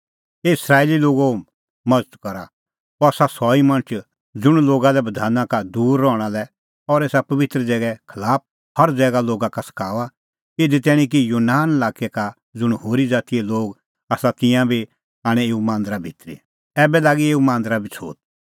हे इस्राएली लोगो मज़त करा अह आसा सह ई मणछ ज़ुंण लोगा लै बधान का दूर रहणा लै और एसा पबित्र ज़ैगे खलाफ हर ज़ैगा लोगा का सखाऊआ इधी तैणीं कि यूनान लाक्कै का ज़ुंण होरी ज़ातीए लोग आसा तिंयां बी आणै एऊ मांदरा भितरी ऐबै लागी एऊ मांदरा बी छ़ोत